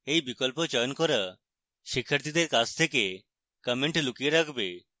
এই বিকল্প চয়ন করা শিক্ষার্থীদের কাছ থেকে content লুকিয়ে রাখবে